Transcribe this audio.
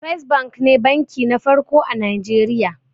First bank ne banki na farko a najeriya